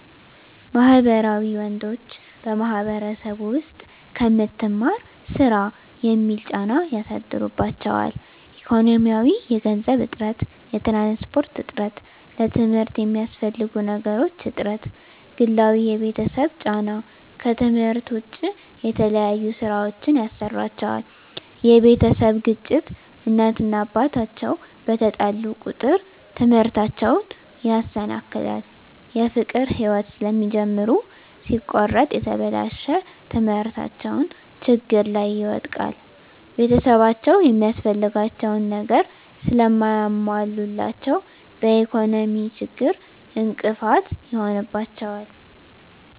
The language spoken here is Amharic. ማህበራዊ ወንዶች በማህበረሰቡ ዉስጥ ከምትማር ስራ የሚል ጫና ያሳድሩባቸዋል። ኢኮኖሚያዊ የገንዘብ እጥረት፣ የትራንስፖርት እጥረት፣ ለትምርት የሚያስፈልጉ ነገሮች እጥረት፣ ግላዊ የቤተሰብ ጫና ከትምህርት ዉጭ የተለያዩ ስራወችን ያሰሩአቸዋል የቤተሰብ ግጭት እናት እና አባት አቸዉ በተጣሉ ቁጥር ትምህርታቸዉን ያሰናክላል። የፍቅር ህይወት ስለሚጀምሩ ሲቆረጥ የተበላሸ ትምህርታቸዉን ችግር ላይ ይወድቃል። ቤተሰብአቸዉ የሚያስፈልጋቸዉን ነገር ስለማያሞሉላቸዉ በኢኮኖሚ ችግር እንቅፋት ይሆንባቸዋል።